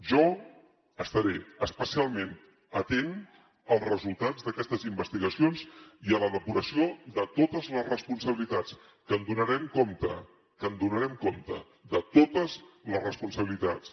jo estaré especialment atent als resultats d’aquestes investigacions i a la depuració de totes les responsabilitats que en donarem compte que en donarem compte de totes les responsabilitats